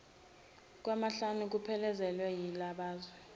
kwamahlanu kuphelezelwe yibalazwe